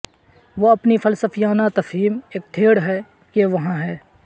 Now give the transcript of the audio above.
وہ اپنی فلسفیانہ تفہیم ایک تھیٹر ہے کہ وہاں ہے